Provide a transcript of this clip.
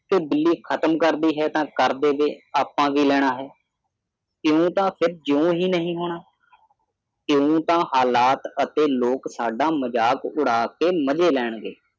ਕੇ ਬਿੱਲੀ ਖ਼ਤਮ ਕਰਦੀ ਐ ਤੇ ਕਰ ਦੇਵੇ ਅਸੀਂ ਕੀ ਲੈਣਾ ਹੈ ਇਹ ਵੀ ਤਾਂ ਫਿਰ ਜਿਉਂ ਹੀ ਨਹੀਂ ਹੋਣਾ ਇਉਂ ਤਾਂ ਹਾਲਾਤ ਅਤੇ ਲੋਕ ਸਾਡਾ ਮਜ਼ਾਕ ਉਡਾ ਕੇ ਮਜ਼ੇ ਲੈਣਗੇ